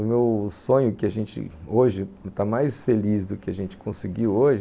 O meu sonho, que a gente hoje está mais feliz do que a gente conseguiu hoje,